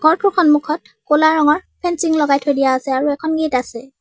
ঘৰটোৰ সন্মুখত ক'লা ৰঙৰ ফেঞ্চিং লগাই থৈ দিয়া আছে আৰু এখন গেট আছে।